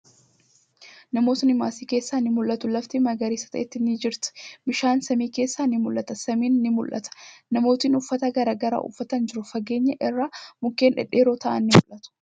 Namootni maasii keessaa ni mul'atu. Lafti magariisa taate ni jirti. Bishaan samii keessaa ni mul'ata. Samiin ni mul'ata. Namootni uffata garagaraa uffatanii jiru. Fageenya irraa, mukkeen dhedheeroo ta'an ni mul'atu.